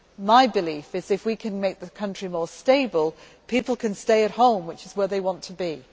My belief is that, if we can make the country more stable, people can stay at home which is where they want to be.